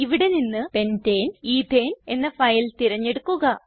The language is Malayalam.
ഇവിടെ നിന്ന് pentane എത്തനെ എന്ന ഫയൽ തിരഞ്ഞെടുക്കുക